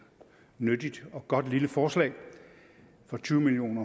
nyttigt og godt lille forslag for tyve million